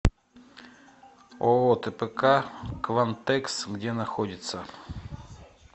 ооо тпк квантэкс где находится